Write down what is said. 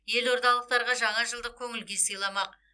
елордалықтарға жаңа жылдық көңіл күй сыйламақ